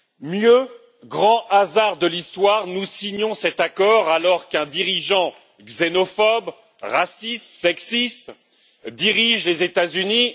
Mieux, grand hasard de l'histoire, nous signons cet accord alors qu'un dirigeant xénophobe, raciste et sexiste dirige les États-Unis.